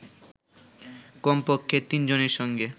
কমপক্ষে তিনজনের সঙ্গে